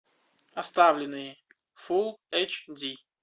оставленные фулл эйч ди